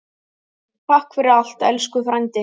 Takk fyrir allt, elsku frændi.